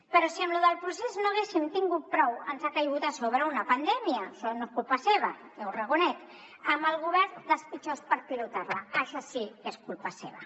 però si amb lo del procés no n’haguéssim tingut prou ens ha caigut a sobre una pandèmia això no és culpa seva ja ho reconec amb el govern dels pitjors per pilotar la això sí que és culpa seva